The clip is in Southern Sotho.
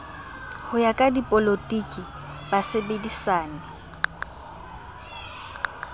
ho ya ka dipolotiki basebedisani